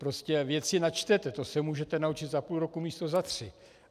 Prostě věci načtete, to se můžete naučit za půl roku místo za tři.